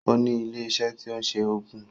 O ní ilé iṣẹ́ tí ń se oògùn